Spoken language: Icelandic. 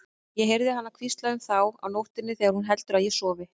Ég heyri hana hvísla um þá á nóttunni þegar hún heldur að ég sofi.